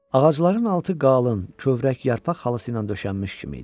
Ağacların altı qalın, kövrək yarpaq xalısı ilə döşənmiş kimi idi.